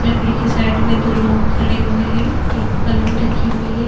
लड़की के साइड में दो लोग खड़े हुए है एक पलंग रखीं हुई है।